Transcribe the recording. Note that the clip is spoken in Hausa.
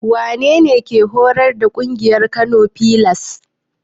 Wanene mai horas da ƙungiyar Kano filas?